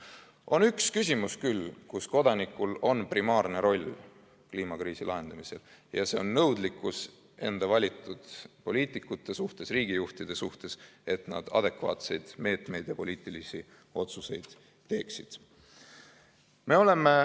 On küll üks küsimus, kus kodanikul on primaarne roll kliimakriisi lahendamisel, see on nõudlikkus enda valitud poliitikute vastu, riigijuhtide vastu, et nad adekvaatseid meetmeid rakendaksid ja õigeid poliitilisi otsuseid teeksid.